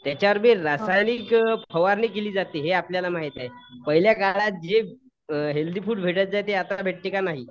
त्याच्यावर बी रासायनिक फवारणी केली जाते हे आपल्याला माहित आहे. पहिल्या काळात जे अ हेल्थी फूड भेटायचे ते आता भेटते का? नाही.